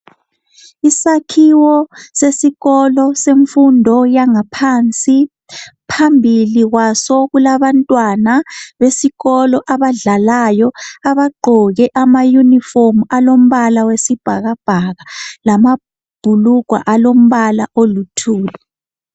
Isakhiwo sesikolo semfundo yangaphansi phambili kwaso kulabantwana besikolo abadlalayo abagqoke ama uniform alombala oyibhakabhaka lamabhulugwe alombala oluthuli.